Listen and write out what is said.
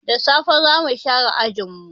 Da sassafe za mu share ajin mu.